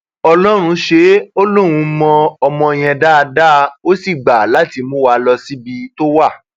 ọlọrun ṣe é ó lóun mọ ọmọ yẹn dáadáa ó sì gbà láti mú wa lọ síbi tó wà